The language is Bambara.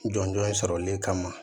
Jɔnjɔn sɔrɔli kama